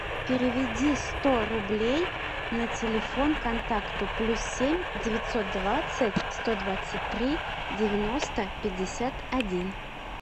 переведи сто рублей на телефон контакту плюс семь девятьсот двадцать сто двадцать три девяносто пятьдесят один